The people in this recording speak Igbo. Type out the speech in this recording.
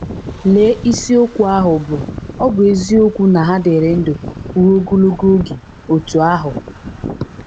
Lee isiokwu ahụ bụ́ “Ọ̀ Bụ Eziokwu na Ha Dịrị Ndụ Ruo Ogologo Oge Otú Ahụ?”